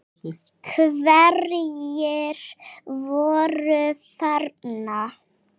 Hverjir voru þarna?